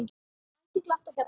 Ætíð glatt á hjalla.